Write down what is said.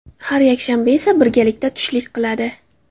Har yakshanba esa birgalikda tushlik qiladi.